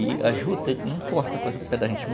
E a juta, não corta com o pé da gente.